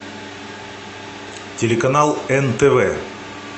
телеканал нтв